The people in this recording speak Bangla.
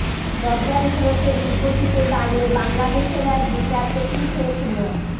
প্রচল স্রোতের বিপরীতে দাঁড়িয়ে বাংলাদেশের এক বিচারপতি শেখ মো